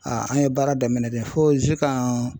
an ye baara daminɛn de fo zikan